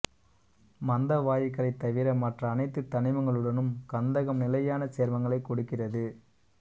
மந்த வாயுக்களைத் தவிர மற்ற அனைத்து தனிமங்களுடனும் கந்தகம் நிலையான சேர்மங்களைக் கொடுக்கிறது